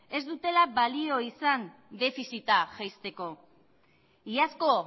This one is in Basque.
ez dutela balio izan defizita jaisteko iazko